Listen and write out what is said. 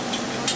Gəldin əmi?